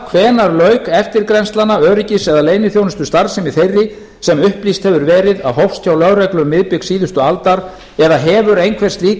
hvenær lauk eftirgrennslana öryggis eða leyniþjónustustarfsemi þeirri sem upplýst hefur verið að hófst hjá lögreglu um miðbik síðustu aldar eða hefur einhver slík